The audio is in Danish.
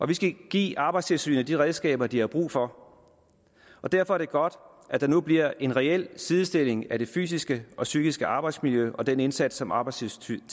vi skal give arbejdstilsynet de redskaber de har brug for og derfor er det godt at der nu bliver en reel sidestilling mellem det fysiske og psykiske arbejdsmiljø og den indsats som arbejdstilsynet